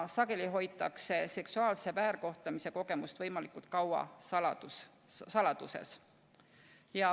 Sageli aga hoitakse seksuaalse väärkohtlemise kogemust võimalikult kaua saladuses.